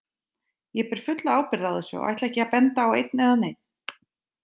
Ég ber fulla ábyrgð á þessu og ætla ekki að benda á einn eða neinn.